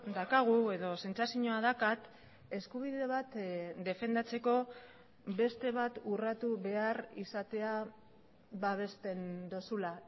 daukagu edo sentsazioa daukat eskubide bat defendatzeko beste bat urratu behar izatea babesten duzula